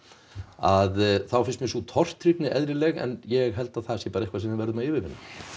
að þá finnst mér sú tortryggni eðlileg en ég held að það sé bara eitthvað sem við verðum að yfirvinna